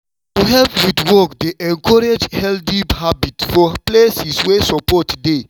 to help with work dey encourage healthy habits for places wey support dey.